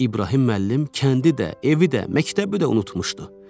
İbrahim müəllim kəndi də, evi də, məktəbi də unutmuşdu.